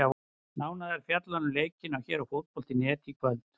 Nánar er fjallað um leikinn hér á Fótbolta.net í kvöld.